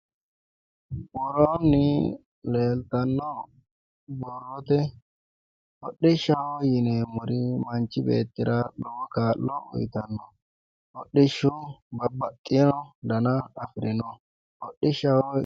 Worooni leellittani nooti hodishshaho yineemmori manchi beettira lowo kaa'lo uyittano hodhishshu babbaxewo danna afirinno ,hodhishshaho.